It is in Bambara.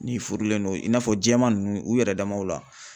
N'i furulen don i n'a fɔ jɛman nunnu u yɛrɛ damaw la.